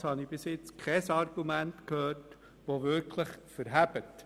Auf jeden Fall habe ich bis jetzt kein Argument gehört, das wirklich standhält.